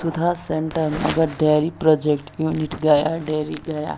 सुधा centre dairy project unit गया dairy गया --